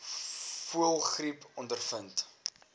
voëlgriep ondervind